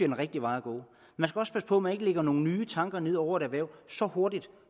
den rigtige vej at gå man skal også passe på at man ikke lægger nogen nye tanker ned over et erhverv så hurtigt